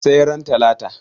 sai ran latala